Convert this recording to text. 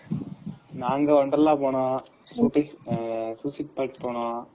நாங்க wonderla போனோம், அப்பறம் suicide point போனோம்.